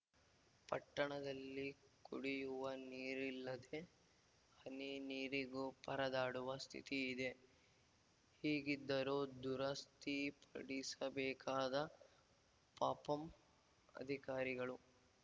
ಪಟ್ಟಣದಲ್ಲಿ ಕುಡಿಯುವ ನೀರಿಲ್ಲದೆ ಹನಿ ನೀರಿಗೂ ಪರದಾಡುವ ಸ್ಥಿತಿ ಇದೆ ಹೀಗಿದ್ದರೂ ದುರಸ್ತಿಪಡಿಸಬೇಕಾದ ಪಪಂ ಅಧಿಕಾರಿಗಳು